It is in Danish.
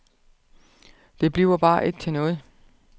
Det bliver bare ikke til noget.